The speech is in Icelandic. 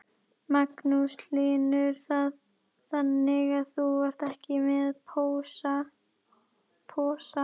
Magnús Hlynur: Þannig að þú ert ekki með posa?